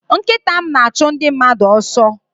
Nkịta m na-achụ ndị mmadụ ọsọ.